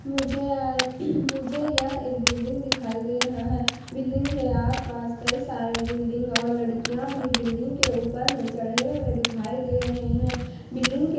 मुझे मुझे यह बिल्डिंग दिखाई दे रहा है बिल्डिंग के आसपास कई सारे बिल्डिंग और लड़कियां भी बिल्डिंग के ऊपर में चढ़े हुए दिखाई दे रहे हैं बिल्डिंग के --